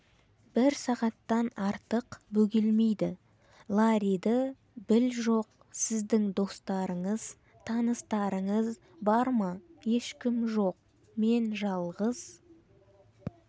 бір сағаттан артық бөгелмейді ларриді біл жоқ сіздің достарыңыз таныстарыңыз бар ма ешкім жоқ мен жалғыз